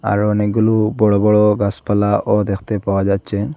আরো অনেকগুলো বড় বড় গাছপালাও দেখতে পাওয়া যাচ্ছে।